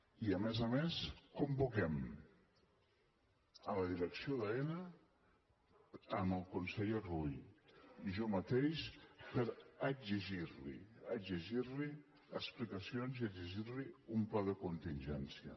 i a més a més convoquem la direcció d’aena amb el conseller rull i jo mateix per exigirli explicacions i exigirli un pla de contingència